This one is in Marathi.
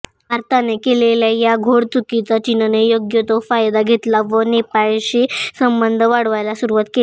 भारताने केलेल्या या घोडचुकीचा चीनने योग्य तो फायदा घेतला व नेपाळशी संबंध वाढवायला सुरुवात केली